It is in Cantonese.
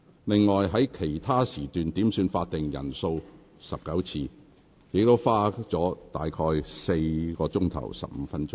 另外，在其他時段點算法定人數19次，亦花了近4小時15分鐘。